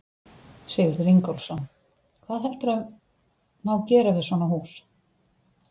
Sigurður Ingólfsson: Hvað heldurðu má gera við svona hús?